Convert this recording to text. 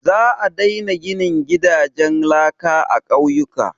Za a daina ginin gidajen laka a ƙauyuka.